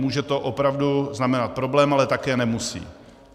Může to opravdu znamenat problém, ale také nemusí.